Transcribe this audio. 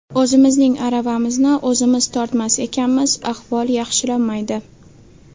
O‘zimizning aravamizni o‘zimiz tortmas ekanmiz ahvol yaxshilanmaydi.